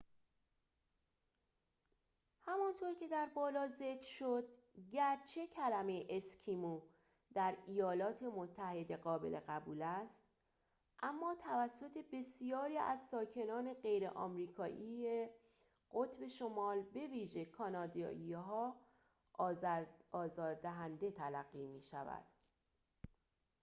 همانطور که در بالا ذکر شد گرچه کلمه اسکیمو در ایالات متحده قابل قبول است اما توسط بسیاری از ساکنان غیر آمریکایی قطب شمال به ویژه کانادایی‌ها آزاردهنده تلقی می‌شود